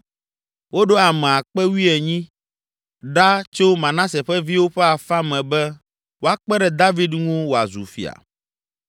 Woɖo ame akpe wuienyi (18,000) ɖa tso Manase ƒe viwo ƒe afã me be woakpe ɖe David ŋu wòazu fia.